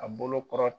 A bolo kɔrɔ